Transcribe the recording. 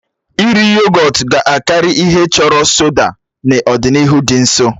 Iri yogọt ga-akarị ihe a chọrọ soda n'ọdịnihu dị nso.